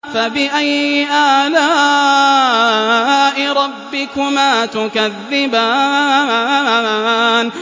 فَبِأَيِّ آلَاءِ رَبِّكُمَا تُكَذِّبَانِ